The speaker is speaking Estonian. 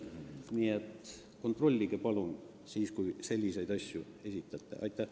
Nii et kontrollige palun, kui selliseid väiteid esitate!